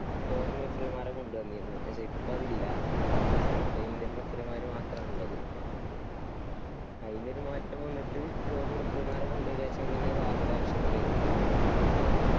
foreign referee മാരെ കൊണ്ടുവന്നിരുന്നു. പക്ഷെ ഇപ്പോ അതില്ല അതാണ് പ്രശ്‌നം. ഇപ്പോ indian referee മാര് മാത്രാണ് ഇള്ളത്. അയിനൊരു മാറ്റം വന്നിട്ട് foreign referee മാരെ കൊണ്ടുവരാ വെച്ച പിന്നെ ഈ war ന്റെ ആവശ്യോന്നും വരില്ല.